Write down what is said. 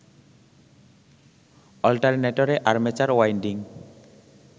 অল্টারনেটরে armature winding